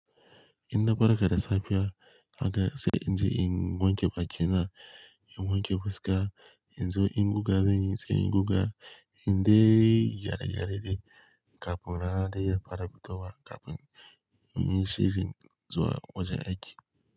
In na farka da safiya haka sai in je in wanke bakina, in wanke fuska, in zo in guga zan yi se in guga, in dai gyare-gyare dai, kafin rana dai fara fitowa kafin in yi shirin zuwa wajen aiki.